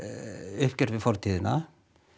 uppgjör við fortíðina